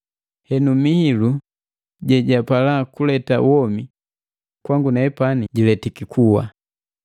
Henu Mihilu jejapala kuleta womi, kwangu nepani jiletiki kuwa.